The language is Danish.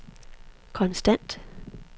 konstant